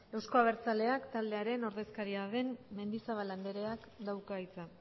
euzko abertzaleak taldearen ordezkaria den mendizabal andreak dauka hitza